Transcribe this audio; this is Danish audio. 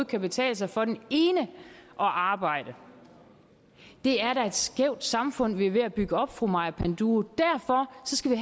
kan betale sig for den ene at arbejde det er da et skævt samfund vi er ved at bygge op fru maja panduro derfor skal vi